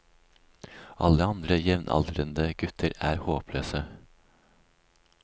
Alle andre jevnaldrende gutter er håpløse.